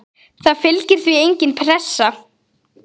Það fylgir því engin pressa.